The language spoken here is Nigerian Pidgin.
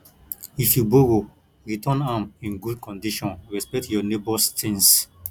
if you borrow return am in good condition respect your neighbors things